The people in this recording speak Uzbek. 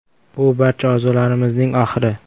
Bu barcha orzularimizning oxiri.